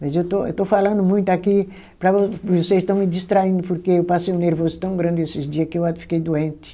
Mas eu estou estou falando muito aqui, para vocês estão me distraindo porque eu passei um nervoso tão grande esses dias que eu a fiquei doente.